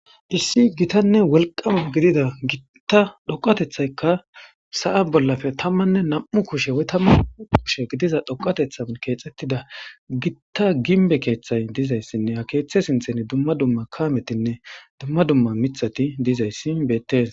Issi gittanne wolqama gidida dhoqatethayka sa'a bollappe tammanne nam'u kushe woy tammu kushe gidiza dhoqatethan kexetida gitta ginbi kethay dizaysinne ha kethe sinthe dumma summa miththati dizaysi Bette's.